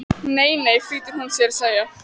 Nei, nei flýtir hún sér að segja.